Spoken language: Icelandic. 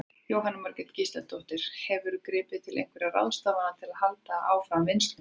Jóhanna Margrét Gísladóttir: Hefurðu gripið til einhverja ráðstafana til að halda áfram vinnslunni?